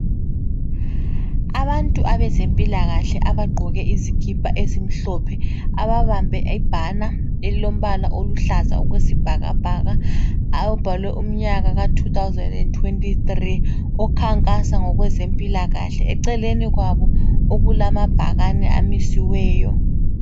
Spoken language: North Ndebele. Abantu abezempilakahle abagqoke izikipa ezimhlophe ababambe ibhana elilombala oluhlaza okwesibhakabhaka abhalwe umnyaka ka2023 okhankasa ngokwezempilakahle. Eceleni kwabo okulamabhakani amisiweyo.